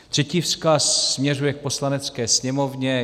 Třetí vzkaz směřuje k Poslanecké sněmovně.